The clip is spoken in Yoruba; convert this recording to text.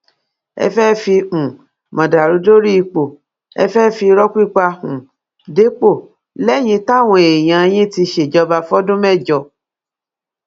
ẹ fẹẹ fi um mọdàrú dórí ipò ẹ fẹẹ fi irọ pípa um dépò lẹyìn táwọn èèyàn yín ti ṣèjọba fọdún mẹjọ